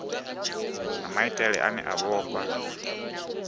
na maitele ane a vhofha